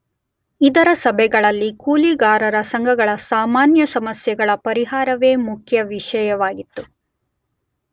ಇದರ ಸಭೆಗಳಲ್ಲಿ ಕೂಲಿಗಾರರ ಸಂಘಗಳ ಸಾಮಾನ್ಯ ಸಮಸ್ಯೆಗಳ ಪರಿಹಾರವೇ ಮುಖ್ಯ ವಿಷಯವಾಗಿತ್ತು.